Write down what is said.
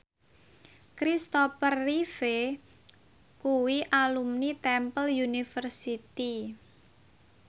Kristopher Reeve kuwi alumni Temple University